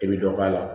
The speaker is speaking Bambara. I bi dɔ k'a la